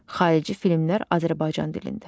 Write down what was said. Xarici filmlər Azərbaycan dilində.